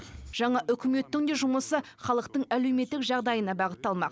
жаңа үкіметтің де жұмысы халықтың әлеуметтік жағдайына бағытталмақ